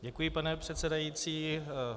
Děkuji, pane předsedající.